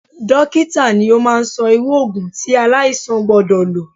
Dókítà ni ó máa ń sọ irú Ògùn tí aláìsàn gbọ́dọ̀ lọ.